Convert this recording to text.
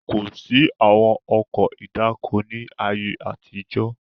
Kosi àwọn ọkọ̀ ìdáko ni ayé àtijọ́